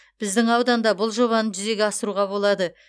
біздің ауданда бұл жобаны жүзеге асыруға болады